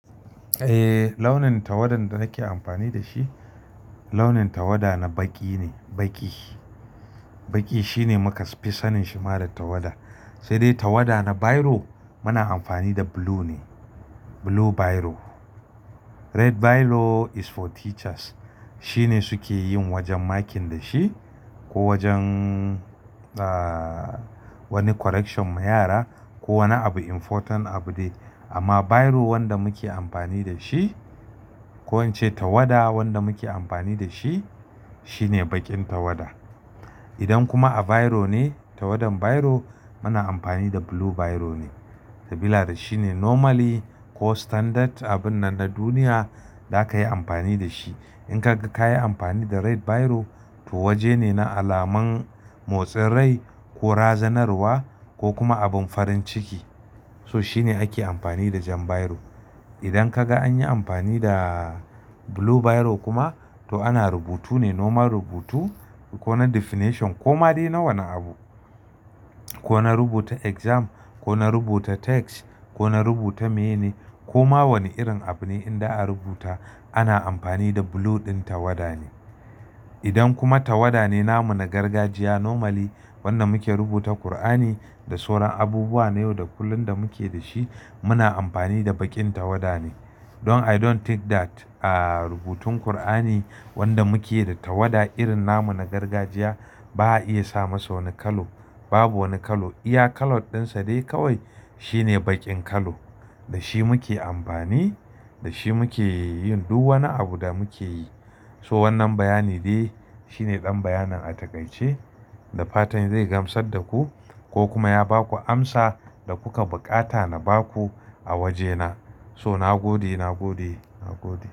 Eh, launin tawada da nake amfani da shi, launin tawada na baƙi ne, baƙi. Baƙi shine muka fi sanin shi da tawada. Sai dai tawada na biro muna amfani da blue ne, blue biro. Red biro is for teachers shine suke yin wajen makin da shi ko wajen, ah, wani correction ma yara ko wani abu important abu de. Amma biro wanda muke amfani da shi ko wance tawada wanda muke amfani da shi shine baƙin tawada. Idan kuma a biro ne, tawadan biro muna amfani da blue biro ne. Sabila da shi ne normally ko standard abun nan na duniya zaka yi amfani da shi. In kaga ka yi amfani da red biro to waje ne na alaman motsin rai ko razanarwa ko kuma abin farin ciki. So shine ake amfani da jan biro. Idan kaga an yi amfani da blue biro kuma to ana rubutu ne, normal rubutu ko na definition ko ma dai na wani abu. Ko na rubuta exam, ko na rubuta text, ko na rubuta maine ko ma wani irin abu ne in da a rubuta ana amfani da blue ɗin tawada ne. Idan kuma tawada ne namu na gargajiya normally wanda muke rubuta Kur'ani da sauran abubuwa na yau da kullum da muke da shi muna amfani da baƙin tawada ne. Don I don't think that a rubutun Kur'ani wanda muke da tawada irin namu na gargajiya ba a iya sa masa wani kalo. Babu wani kalo. Iya kalar ɗinsa dai kawai shine baƙin kalo. Da shi muke amfani, da shi muke yin duk wani abu da muke yi. So wannan bayani dai shine ɗan bayanan a takaice da fatan zai gamsar da ku ko kuma ya ba ku amsa da kuka buƙata na ba ku a wajena. So na gode, na gode, na gode.